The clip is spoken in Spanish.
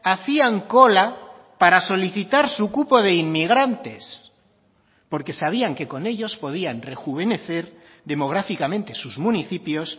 hacían cola para solicitar su cupo de inmigrantes porque sabían que con ellos podían rejuvenecer demográficamente sus municipios